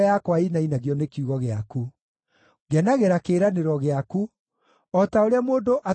Ngenagĩra kĩĩranĩro gĩaku, o ta ũrĩa mũndũ atahĩte indo nyingĩ akenaga.